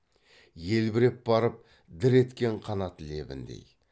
елбіреп барып дір еткен қанат лебіндей